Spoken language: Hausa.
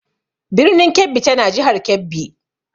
Birnin Kebbi tana jihar Kebbi.